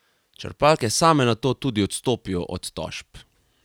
Črpalke same nato tudi odstopijo od tožb.